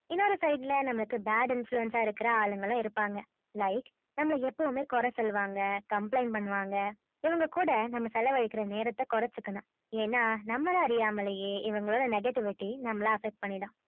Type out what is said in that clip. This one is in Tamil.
இன்னொரு side ல நமக்கு bad influence இருக்குற ஆளு இருப்பாங்க like நம்பள எப்பவுமே கோரச்சொல்லுவாங்க பண்ணுவாங்க இவங்க கூட செலவு அழிக்கறதாநேரம் கொறச்சிக்கணும் என்ன நம்பள அறியாமலே இவங்களோட negativity நம்பள affect பண்ணிடும்